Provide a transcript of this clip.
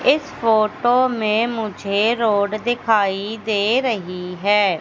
इस फोटो में मुझे रोड दिखाई दे रही है।